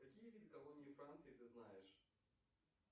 какие виды колонии франции ты знаешь